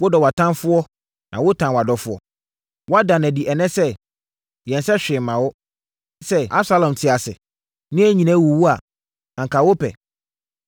Wodɔ wʼatamfoɔ, na wotan wʼadɔfoɔ. Woada no adi ɛnnɛ sɛ, yɛnsɛ hwee mma wo. Sɛ Absalom te ase, na yɛn nyinaa awuwu a, anka wopɛ no saa.